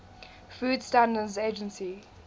food standards agency